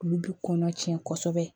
Olu bi kɔnɔ tiɲɛ kosɛbɛ